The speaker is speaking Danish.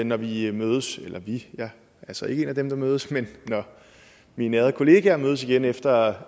når vi mødes jeg er så ikke en af dem der mødes men når mine ærede kollegaer mødes igen efter